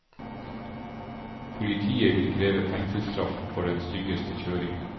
Politiet vil kreve fengselsstraff for den styggeste kjøringen.